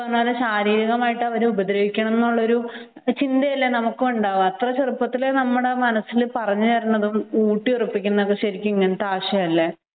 ശാരീരികമായിട്ട് അവരെ ഉപദ്രവിക്കണമെന്ന ചിന്തയല്ലേ നമുക്കും ഉണ്ടാവുക അത്ര ചെറുപ്പത്തിലേ നമ്മുടെ മനസ്സിൽ പറഞ്ഞുതരുന്നതും ഊട്ടി ഉറപ്പിക്കുന്നതും ഇങ്ങനത്തെ ആശയം അല്ലെ